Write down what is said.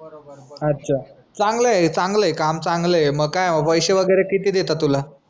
बरोबर अच्छा चांगल्य चांगल्य काम चांगल्य मग पयशे वगैरे किती देतात तुला